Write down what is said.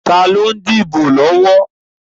Taàní ó ń dìbò lọ́wọ́?